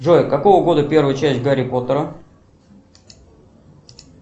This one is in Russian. джой какого года первая часть гарри поттера